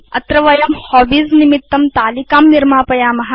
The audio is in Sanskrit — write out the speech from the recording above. अधुना अस्मिन् वयं हॉबीज निमित्तं तालिकां निर्मापयाम